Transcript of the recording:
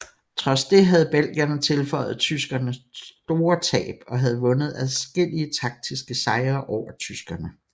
Trods det havde belgierne tilføjet tyskerne store tab og havde vundet adskillige taktiske sejre over tyskerne